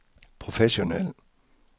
professionel